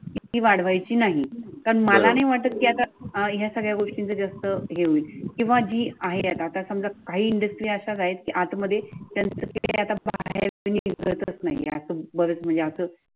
ती वाढवायची नाही पण मला नाही वाटत कि या सगळ्या गोष्टींचा जास्त हे होईल किंवा जी आहे आत्ता समजा काही इंडस्ट्री असायची आतमध्ये